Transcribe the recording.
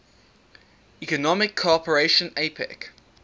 economic cooperation apec